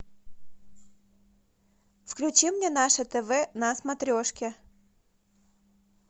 включи мне наше тв на смотрешке